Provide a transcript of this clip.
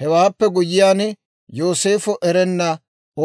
Hewaappe guyyiyaan, Yooseefo erenna